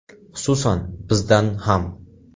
Xususan, bizdan ham.